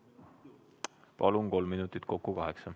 Saate kolm minutit lisaaega, kokku kaheksa.